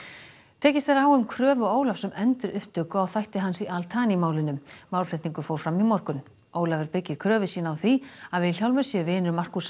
tekist er á um kröfu Ólafs um endurupptöku á þætti hans í al Thani málinu málflutningur fór fram í morgun Ólafur byggir kröfu sína á því að Vilhjálmur sé vinur Markúsar